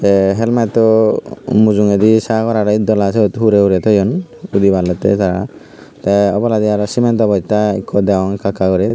tey helmet u mujungedi sagor aro eddola syot hurey hurey toyun udiballottey tara tey oboladi aro cement o bottya ekku degong ekka ekka guri.